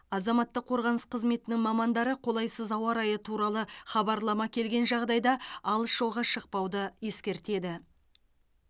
азаматтық қорғаныс қызметінің мамандары қолайсыз ауа райы туралы хабарлама келген жағдайда алыс жолға шықпауды ескертеді